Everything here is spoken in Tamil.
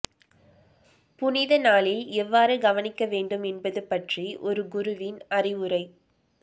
புனித நாளில் எவ்வாறு கவனிக்க வேண்டும் என்பது பற்றி ஒரு குருவின் அறிவுரை